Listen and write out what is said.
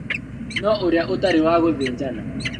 Na ũrĩa ũtarĩ wa gũthĩnjana